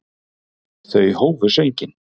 Þau hófu sönginn.